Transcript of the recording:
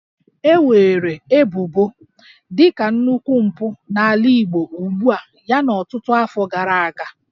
E weere ebubo dị ka nnukwu mpụ n'ala Igbo ugbua yana ọtụtụ afọ gara aga